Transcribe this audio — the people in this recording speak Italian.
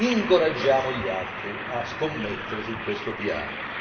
e incoraggiamo gli altri a scommettere su questo piano.